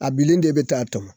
A binni de bɛ taa a tɔmɔ